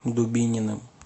дубининым